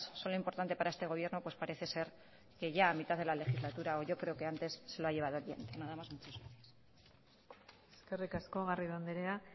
son lo importante para este gobierno pues parece ser que ya a mitad de la legislatura o yo creo que antes se lo ha llevado el viento nada más muchas gracias eskerrik asko garrido andrea